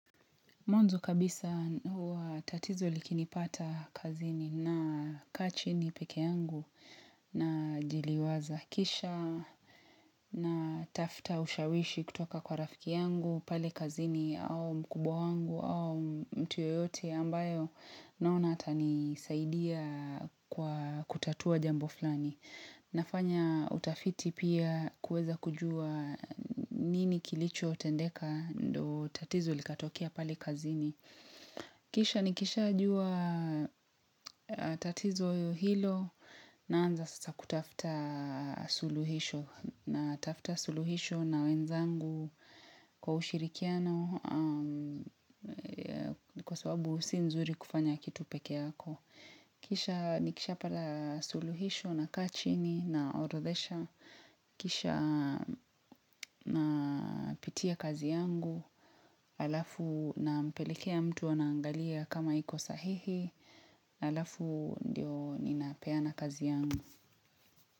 Mwanzo kabisa huwa tatizo likinipata kazini na kaa chini peke yangu na jiliwaza kisha na tafuta ushawishi kutoka kwa rafiki yangu pale kazini au mkubwa wangu au mtu yeyote ambayo naona atanisaidia kwa kutatua jambo fulani. Nafanya utafiti pia kuweza kujua nini kilichotendeka ndo tatizo likatokea pale kazini. Kisha nikishajua tatizo hilo naanza sasa kutafuta suluhisho natafuta suluhisho na wenzangu kwa ushirikiano kwa sababu si nzuri kufanya kitu peke yako. Kisha nikishapata suluhisho na kaa chini na orodhesha, kisha napitia kazi yangu, alafu na mpelekea mtu anaangalia kama iko sahihi, alafu ndio ninapeana kazi yangu.